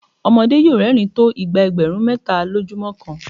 ọmọdé yóò rẹ́rìn-ín tó ìgbà ẹgbẹ̀rún méta lójúmọ́ kan.